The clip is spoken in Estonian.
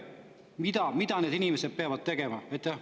Öelge, mida need inimesed peavad tegema!